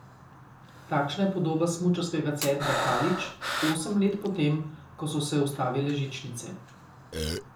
Takšna je podoba smučarskega centra Kalič osem let po tem, ko so se ustavile žičnice.